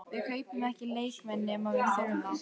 Við kaupum ekki leikmenn nema við þurfum þá.